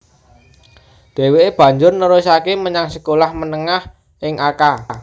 Dheweke banjur nerusake menyang sekolah menengah ing Akka